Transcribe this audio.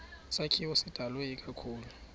sakhiwo sidalwe ikakhulu